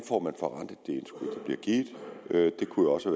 bliver givet det kunne jo også